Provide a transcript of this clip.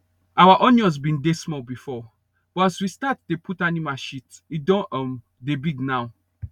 our onions bin dey small before but as we start dey put animal shit e don um dey big now